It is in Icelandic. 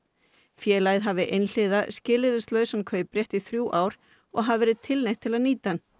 félagið hafi einhliða skilyrðislausan kauprétt í þrjú ár og hafi verið tilneytt til að nýta hann